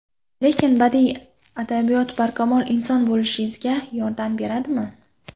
Lekin badiiy adabiyot barkamol inson bo‘lishimizga yordam beradimi?